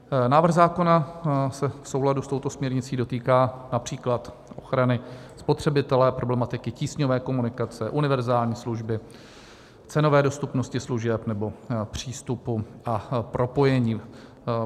Návrh zákona se v souladu s touto směrnicí dotýká například ochrany spotřebitele, problematiky tísňové komunikace, univerzální služby, cenové dostupnosti služeb nebo přístupu a propojení.